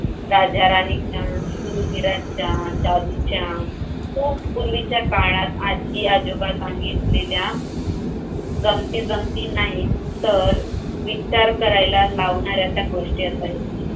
राजाराणीच्या, शूरवीरांच्या, जादूच्या खूप पूर्वीच्या काळात आजी-आजोबा सांगितलेल्या गमती जमती नाही तर विचार करायला लावणाऱ्या त्या गोष्टी असायच्या.